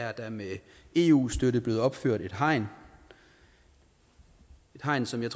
er der med eu støtte blevet opført et hegn et hegn som jeg